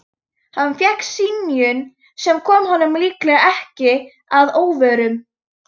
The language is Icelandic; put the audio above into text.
Hann fékk synjun, sem kom honum líklega ekki að óvörum.